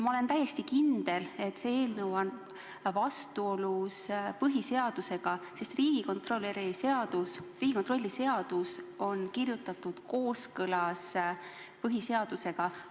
Ma olen täiesti kindel, et see eelnõu on vastuolus põhiseadusega, sest Riigikontrolli seadus on kirjutatud kooskõlas põhiseadusega.